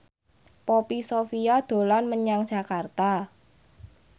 Poppy Sovia dolan menyang Jakarta